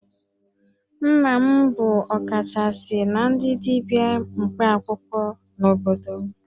Nna m bụ ọkachasị na ndị dibia mkpaakwụkwọ n'obodo m